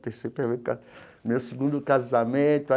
meu segundo casamento.